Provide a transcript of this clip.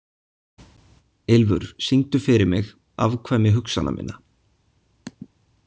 Ylfur, syngdu fyrir mig „Afkvæmi hugsana minna“.